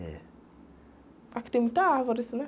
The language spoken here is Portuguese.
É.qui tem muita árvore, assim, né?